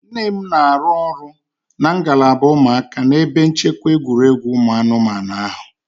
Nne m na-arụ ọrụ na ngalaba ụmụaka n'ebe nchekwa egwuregwu ụmụ anụmanụ ahụ